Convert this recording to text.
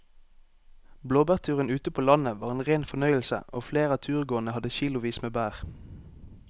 Blåbærturen ute på landet var en rein fornøyelse og flere av turgåerene hadde kilosvis med bær.